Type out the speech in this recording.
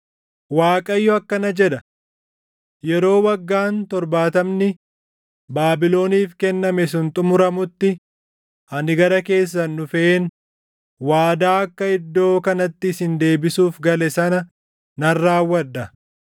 Waaqayyo akkana jedha: “Yeroo Waggaan torbaatamni Baabiloniif kenname sun xumuramutti ani gara keessan dhufeen waadaa akka iddoo kanatti isin deebisuuf gale sana nan raawwadha.